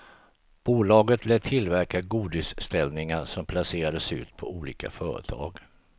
Bolaget lät tillverka godisställningar som placerades ut på olika företag.